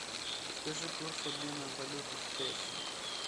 подскажи курс обмена валюты в песо